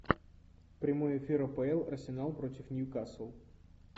прямой эфир апл арсенал против ньюкасл